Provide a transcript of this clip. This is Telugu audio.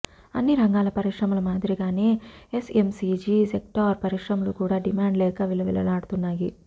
అన్ని రంగాల పరిశ్రమల మాదిరిగానే ఎఫ్ఎంసీజీ సెక్టార్ పరిశ్రమలు కూడా డిమాండ్ లేక విలవిల్లాడుతున్నాయి